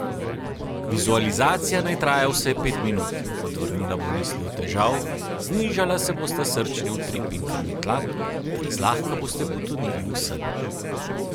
Vizualizacija naj traja vsaj pet minut, odvrnila bo misli od težav, znižala se bosta srčni utrip in krvni tlak ter zlahka boste potonili v sen.